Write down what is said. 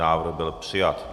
Návrh byl přijat.